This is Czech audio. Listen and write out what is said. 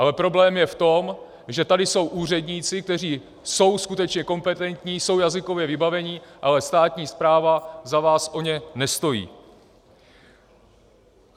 Ale problém je v tom, že tady jsou úředníci, kteří jsou skutečně kompetentní, jsou jazykově vybavení, ale státní správa za vás o ně nestojí.